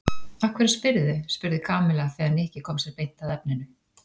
Af hverju spyrðu? spurði Kamilla þegar Nikki kom sér beint að efninu.